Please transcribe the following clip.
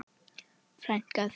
Frænka þín?